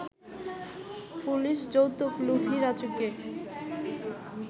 police যৌতুকলোভী রাজুকে